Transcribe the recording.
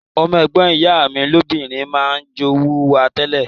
Ọmọ ègbon ìyá mi lobìnrin ma n jowú wa tẹ́lẹ̀